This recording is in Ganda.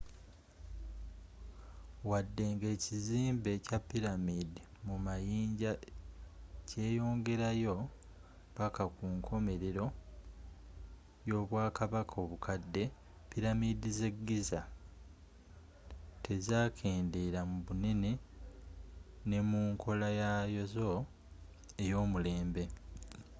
wadde nga ekizimbe kya pyramid mu mayinja kyeyongerayo paka kunkomelero y'obwakabaka obukadde pyramid ze giza tezakendeela mu bunene ne mu nkolayazo eyomulembe